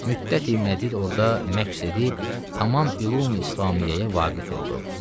Müddəti məcid orda məks edib tamam ülum-i İslamiəyə vaqif oldu.